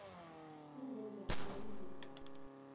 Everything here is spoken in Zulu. kuzo zonke izigaba